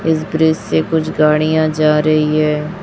इस ब्रिज से कुछ गाड़ियां जा रही है।